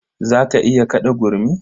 Za ka iya kaɗa gurmi?